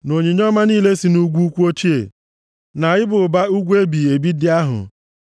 na onyinye ọma niile si nʼugwu ukwu ochie, na ịba ụba ugwu ebighị ebi ndị ahụ,